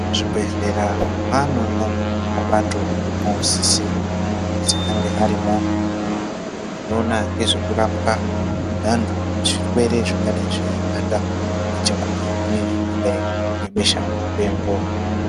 Muzvibhedhlera mwane mabato anosisirwa kuzwi ange arimwo anoona ngezvekurapwa kwevantu zvirwere zvinenge zvichiabata ngechemukati zvakadai ngebeshamupengo.